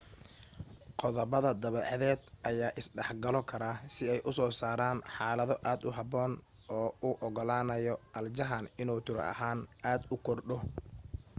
qodobada dabeecadeed ayaa is dhexgalo kara si ay u soo saaraan xaalado aad u habboon oo u ogolaanaya aljahan inuu tiro ahaan aad u kordho